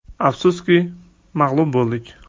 Afsuski, mag‘lub bo‘ldik.